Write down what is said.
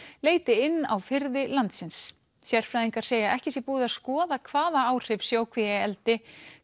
leiti inn á firði landsins sérfræðingar segja að ekki sé búið að skoða hvaða áhrif sjókvíaeldi